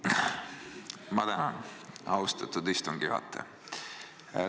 Ma tänan, austatud istungi juhataja!